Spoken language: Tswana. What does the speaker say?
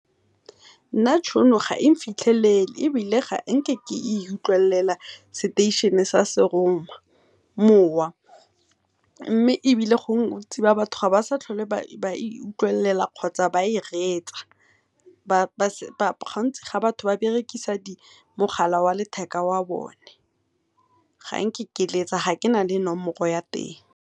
Nna tšhono ga eng fithelele ebile ga nke ke e utlwelela seteišene sa serongwa mowa, mme gongwe bontsi ba batho ga ba sa tlhola ba e utlwelela kgotsa ba e reetsa. gantsi batho ba berekisa mogala wa bone wa letheka, ga nke ke letsa ga kena le nomoro ya teng.